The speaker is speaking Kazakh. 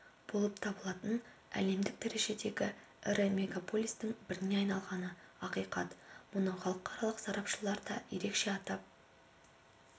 болып табылатын әлемдік дәрежедегі ірі мегаполистің біріне айналғаны ақиқат мұны халықаралық сарапшылар да ерекше атап